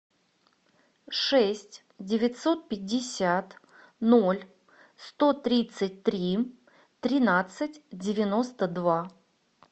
шесть девятьсот пятьдесят ноль сто тридцать три тринадцать девяносто два